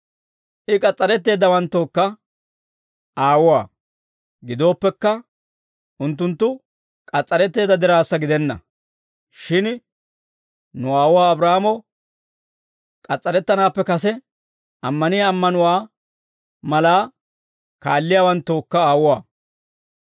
I k'as's'aretteeddawanttookka aawuwaa; gidooppekka, unttunttu k'as's'aretteedda diraassa gidenna; shin nu aawuwaa Abraahaamo k'as's'arettanaappe kase ammaniyaa ammanuwaa malaa kaalliyaawanttookka aawuwaa.